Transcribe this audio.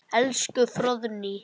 Elsku Fróðný.